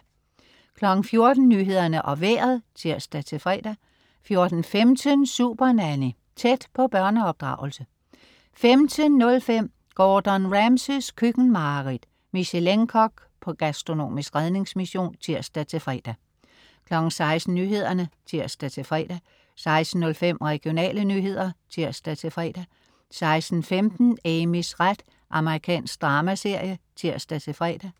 14.00 Nyhederne og Vejret (tirs-fre) 14.15 Supernanny. Tæt på børneopdragelse 15.05 Gordon Ramsays køkkenmareridt. Michelin-kok på gastronomisk redningsmission (tirs-fre) 16.00 Nyhederne (tirs-fre) 16.05 Regionale nyheder (tirs-fre) 16.15 Amys ret. Amerikansk dramaserie (tirs-fre)